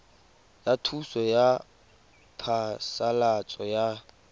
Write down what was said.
ya thuso ya phasalatso ya